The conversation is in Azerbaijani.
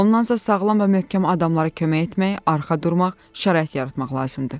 Ondan isə sağlam və möhkəm adamlara kömək etmək, arxa durmaq, şərait yaratmaq lazımdır.